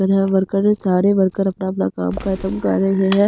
worker सारे worker अपना-अपना काम ख़त्म कर रहे हैं ये--